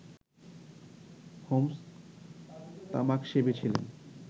Holmes তামাকসেবী ছিলেন